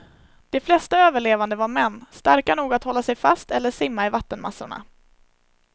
De flesta överlevande var män, starka nog att hålla sig fast eller simma i vattenmassorna.